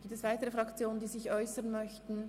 Gibt es weitere Fraktionen, die sich äussern möchten?